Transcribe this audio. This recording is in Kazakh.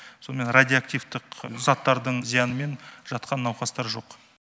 сонымен радиоактивтық заттардың зиянымен жатқан науқастар жоқ